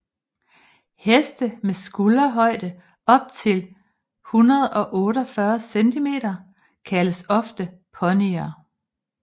Heste med skulderhøjde op til 148 cm kaldes ofte ponyer